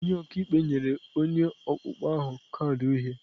Onye ọka ikpe nyere onye ọkpụkpọ ahụ kaadị uhie.